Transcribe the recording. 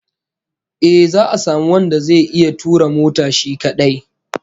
Eh, za'a samu wanda zai iya tura mota shi kadai